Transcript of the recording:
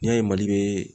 N'i y'a ye mali bɛ